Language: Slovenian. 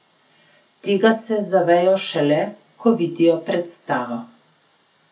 Tega se zavejo šele, ko vidijo predstavo.